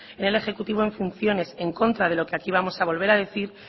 en el ejecutivo en funciones en contra de lo que aquí vamos a volver a decir